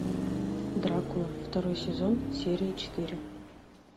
дракула второй сезон серия четыре